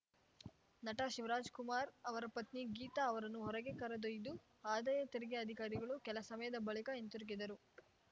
ನಟ ಶಿವರಾಜ್‌ಕುಮಾರ್‌ ಅವರ ಪತ್ನಿ ಗೀತಾ ಅವರನ್ನು ಹೊರಗೆ ಕರೆದೊಯ್ದ ಆದಾಯ ತೆರಿಗೆ ಅಧಿಕಾರಿಗಳು ಕೆಲ ಸಮಯದ ಬಳಿಕ ಹಿಂತಿರುಗಿದರು